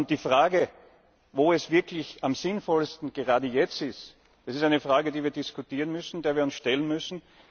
Die Frage, wo es wirklich am sinnvollsten, gerade jetzt, ist, das ist eine Frage, die wir diskutieren müssen, der wir uns stellen müssen.